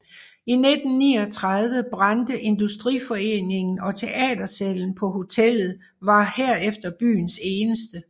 I 1934 brændte Industriforeningen og teatersalen på hotellet var herefter byens eneste